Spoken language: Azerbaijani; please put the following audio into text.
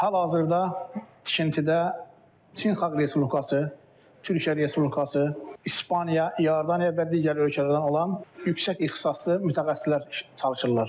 Hal-hazırda tikintidə Çin Xalq Respublikası, Türkiyə Respublikası, İspaniya, İordaniya və digər ölkələrdən olan yüksək ixtisaslı mütəxəssislər çalışırlar.